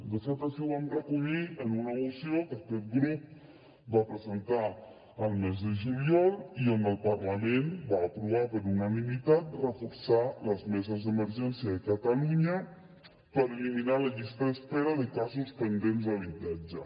de fet així ho vam recollir en una moció que aquest grup va presentar al mes de juliol i en què el parlament va aprovar per unanimitat reforçar les meses d’emergència de catalunya per eliminar la llista d’espera de casos pendents d’habitatge